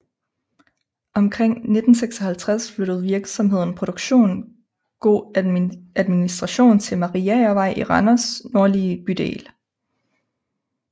Omkring 1956 flyttede virksomheden produktion go administration til Mariagervej i Randers nordlige bydel